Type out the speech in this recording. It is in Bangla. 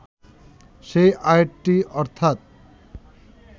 সেই আয়াতটি অর্থাৎ